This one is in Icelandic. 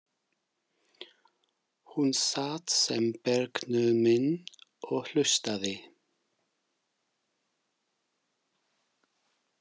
Hún sat sem bergnumin og hlustaði.